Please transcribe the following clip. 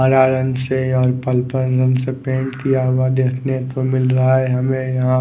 हरा रंग से और पर्पल रंग से पेंट किया हुआ देखने को मिल रहा है हमे यहाँ।